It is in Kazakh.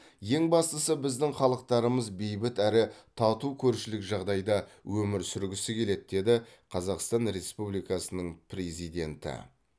ең бастысы біздің халықтарымыз бейбіт әрі тату көршілік жағдайда өмір сүргісі келеді деді қазақстан республикасының президенті